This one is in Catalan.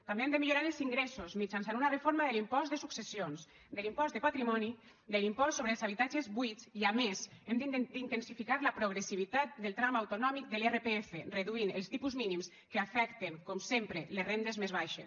també hem de millorar els ingressos mitjançant una reforma de l’impost de successions de l’impost de patrimoni de l’impost sobre els habitatges buits i a més hem d’intensificar la progressivitat del tram autonòmic de l’irpf reduint els tipus mínims que afecten com sempre les rendes més baixes